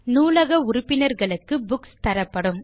நூலக உறுப்பினர்களுக்கு புக்ஸ் தரப்படும்